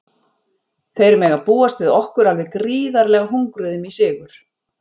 Þeir mega búast við okkur alveg gríðarlega hungruðum í sigur.